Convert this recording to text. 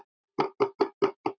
Við Tómas deildum gjarnan hart.